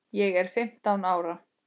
Ég er fimmtán ára.